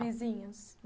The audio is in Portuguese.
Os vizinhos.